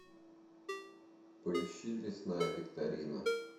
поищи лесная викторина